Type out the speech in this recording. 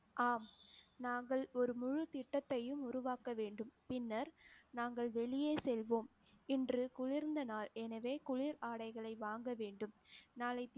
ஆம். நாங்கள் ஒரு முழு திட்டத்தையும் உருவாக்க வேண்டும். பின்னர் நாங்கள் வெளியே செல்வோம், இன்று குளிர்ந்த நாள் எனவே குளிர் ஆடைகளை வாங்க வேண்டும் நாளை